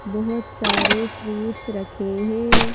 बहुत सारे फ्रूट्स रखे हैं।